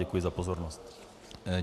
Děkuji za pozornost.